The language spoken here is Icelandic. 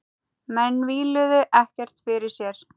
Menn víluðu ekkert fyrir sér.